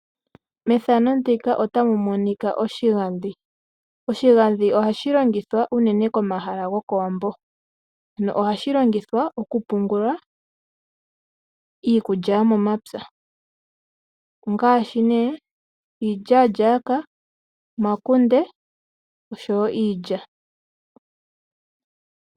Oshigandhi ohashi longithwa unene komahala gokowambo na ohashi longithwa okupungula iikulya yomomapya , ongaashi ne iilyalyaka, omakunde osho wo iilya.